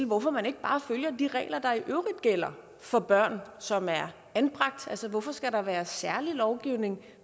hvorfor man ikke bare følger de regler der i øvrigt gælder for børn som er anbragt hvorfor skal der være særlig lovgivning